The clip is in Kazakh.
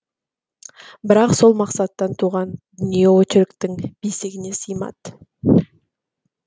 бірақ сол мақсаттан туған дүние очерктің бесігіне сыймады